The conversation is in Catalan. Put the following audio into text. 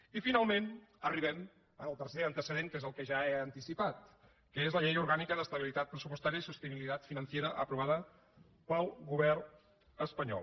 i finalment arribem al tercer antecedent que és el que ja he anticipat que és la llei orgànica d’estabilitat pressupostària i sostenibilidad financiera aprovada pel govern espanyol